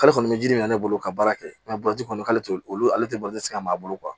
K'ale kɔni bɛ ji min na ne bolo ka baara kɛ kɔni k'ale olu ale tɛ ka mago